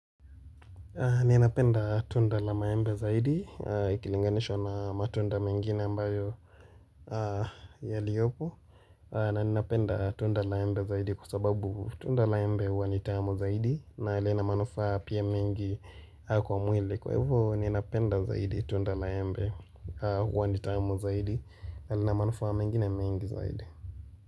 Ninapenda tunda la maembe zaidi, ikilinganishwa na matunda mengine ambayo yaliyopo na ninapenda tunda la embe zaidi kwa sababu tunda la embe huwa ni tamu zaidi na lina manufaa pia mengi kwa mwili Kwa hivo ninapenda zaidi tunda la maembe huwa ni tamu zaidi na lina manufaa mengine mengi zaidi.